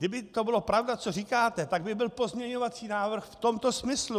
Kdyby to byla pravda, co říkáte, tak by byl pozměňovací návrh v tomto smyslu.